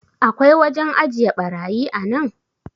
akwai wajen ajiye barayi a nan?